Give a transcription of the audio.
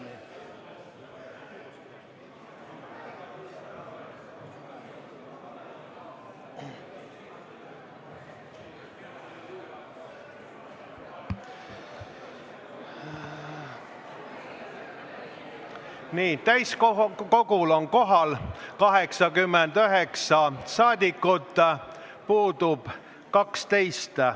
Kohaloleku kontroll Nii, täiskogul on kohal 89 rahvasaadikut, puudub 12.